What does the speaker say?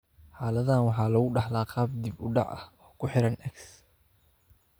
Xaaladdan waxaa lagu dhaxlaa qaab dib u dhac ah oo ku xiran X.